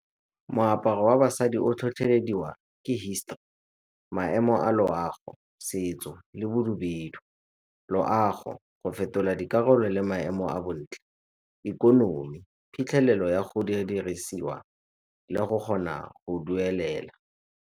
Moaparo wa basadi o tlhotlhelediwa ke history, maemo a loago, setso le . Loago, go fetola dikarolo le maemo a bontle. Ikonomi phitlhelelo ya go kgona go dirisiwa le go kgona go duelelwa.